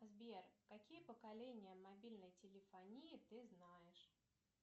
сбер какие поколения мобильной телефонии ты знаешь